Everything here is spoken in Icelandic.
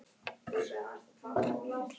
Nenna, hvaða mánaðardagur er í dag?